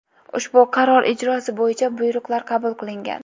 Ushbu qaror ijrosi bo‘yicha buyruqlar qabul qilingan.